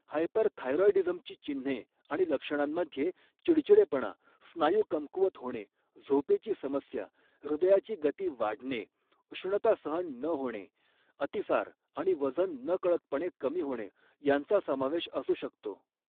हायपरथायरॉईडीझमची चिन्हे आणि लक्षणांमध्ये चिडचिडेपणा, स्नायू कमकुवत होणे, झोपेची समस्या, हृदयाची गती वाढणे, उष्णता सहन न होणे, अतिसार आणि वजन नकळतपणे कमी होणे यांचा समावेश असू शकतो.